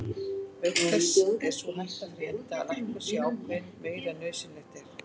Auk þess er sú hætta fyrir hendi að lækkun sé ákveðin meiri en nauðsynlegt er.